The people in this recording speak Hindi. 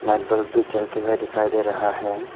आ बल्ब भी जलते हुए दिखाई दे रहा है।